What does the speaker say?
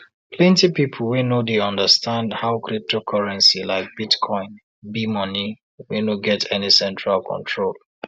plenty people no dey understand how cryptocurrency like bitcoin be money wey no get any central control